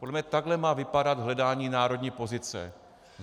Podle mě takhle má vypadat hledání národní pozice.